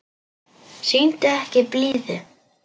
Sýndu ekki blíðu.